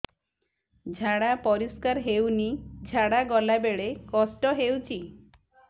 ଝାଡା ପରିସ୍କାର ହେଉନି ଝାଡ଼ା ଗଲା ବେଳେ କଷ୍ଟ ହେଉଚି